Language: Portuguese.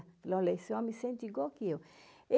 Falei, olha, esse homem sente igual que eu.